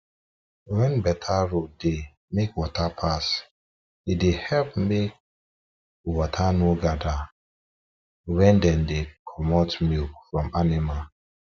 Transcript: when better road dey make water pass e dey help make water no gada where dem dey comot milk from animal